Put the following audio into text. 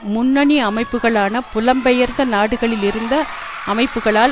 முன்னணி அமைப்புக்களான புலம் பெயர்ந்த நாடுகளில் இருந்த அமைப்புக்களால்